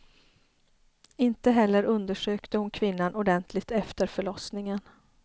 Inte heller undersökte hon kvinnan ordentligt efter förlossningen.